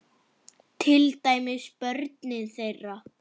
Til dæmis börnin þeirra.